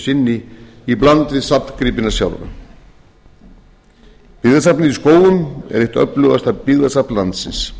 sinni í bland við safngripina sjálfa byggðasafnið í skógum er eitt öflugasta byggðasafn landsins